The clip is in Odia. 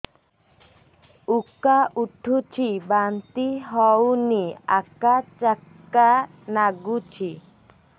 ଉକା ଉଠୁଚି ବାନ୍ତି ହଉନି ଆକାଚାକା ନାଗୁଚି